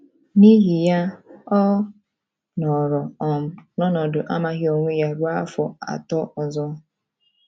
N’ihi ya, ọ nọrọ um n’ọnọdụ amaghị onwe ya ruo afọ atọ ọzọ.